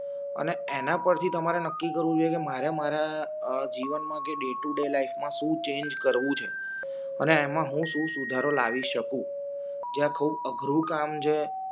અને એના પરથી તમારે નક્કી કરવું છે કે મારે મારા જીવનમાં કે ડેટુ ડે લાઇફમાં શું ચેન્જ કરવું છે અને એમાં હુંશું સુધારો લાવી શકું જે આખું અઘરું કામ છે